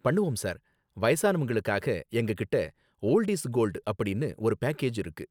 பண்ணுவோம் சார், வயசானவங்களுக்காக எங்ககிட்ட 'ஓல்டு இஸ் கோல்டு' அப்படின்னு ஒரு பேக்கேஜ் இருக்கு